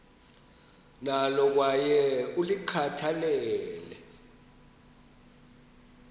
nalo kwaye ulikhathalele